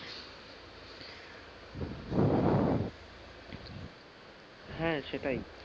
হ্যাঁ সেটাই,